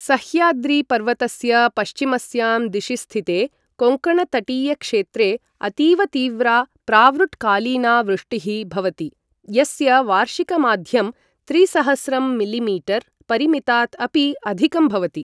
सह्याद्रीपर्वतस्य पश्चिमस्यां दिशि स्थिते कोङ्कणतटीयक्षेत्रे अतीव तीव्रा प्रावृट्कालीना वृष्टिः भवति यस्य वार्षिकमाध्यं त्रिसहस्रं मिलिमीटर् परिमितात् अपि अधिकं भवति।